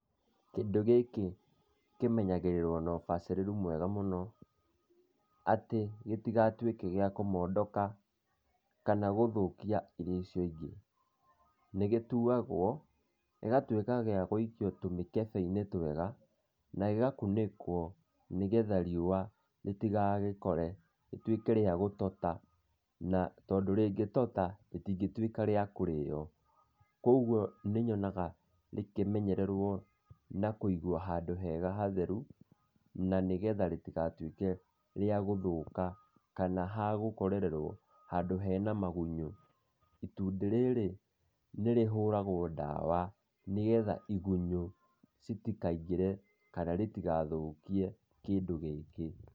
Kĩndũ gĩkĩ kĩmenyagĩrĩrwo nobacirĩru mwega mũno, atĩ gĩtigatuĩke gĩa kũmondoka, kana gũthũkia irio icio ingĩ. Nĩgĩtuagwo gĩgatuĩka gĩa gũikio tũmĩkebe-inĩ twega, na gĩgakunĩkwo nĩgetha riũa rĩtigagĩkore rĩtuĩke rĩa gũtota, na tondũ rĩngĩtota rĩtingĩtuĩka rĩa kũrĩo, kwoguo nĩnyonaga rĩkĩmenyererwo na kũigwo handũ hega hatheru, na nĩgetha rĩtigatuĩke rĩa gũthũka, kana hagũkorererwo handũ hena magunyũ, itunda rĩrĩ nĩrĩhũragwo ndawa nĩgetha igunyũ cĩtikaingĩre kana cĩtigathũkie kĩndũ gĩkĩ.